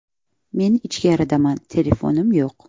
Men ichkaridaman, telefonim yo‘q.